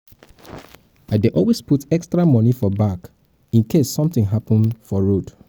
i dey always put extra money for bag in case something happen for road